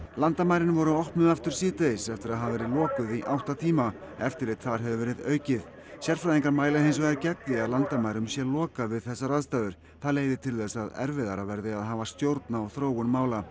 landamærin voru opnuð aftur síðdegis eftir að hafa verið lokuð í átta tíma eftirlit þar hefur verið aukið sérfræðingar mæla hins vegar gegn því að landamærum sé lokað við þessar aðstæður það leiði til þess að erfiðara verði að hafa stjórn á þróun mála